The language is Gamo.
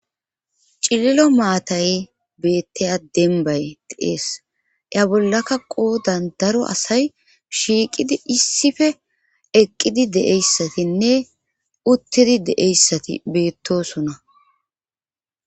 Cililo maatay beettaya dembay deees ya bollaka qoo dandaro asay shiiqidi issife eqqidi deeyssatinne uttidi deeyssati beettosona